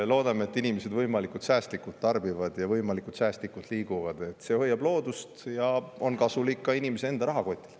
Loodame, et inimesed võimalikult säästlikult tarbivad ja võimalikult säästlikult liiguvad, see hoiab loodust ja on kasulik ka inimese enda rahakotile.